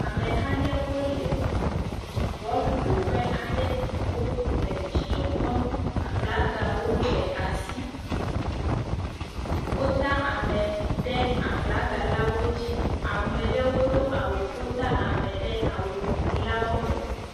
Ameha aɖewo le bɔlƒoƒe aɖe wole dzidzɔ kpɔm, aflagawo le asi, wota ame ɖe aflaga la dzi, ame ɖewo do awu, wota ame ɖe awu lawo me.